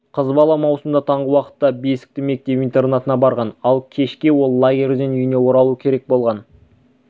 қыз бала маусымда таңғы уақытта бесікті мектеп-интернатына барған ал кешкі ол лагерьден үйіне оралуы керек болған